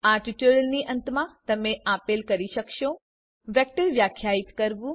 આ ટ્યુટોરીયલની અંતમાં તમે આપેલ કરી શકશો વેક્ટર વ્યાખ્યાયિત કરવું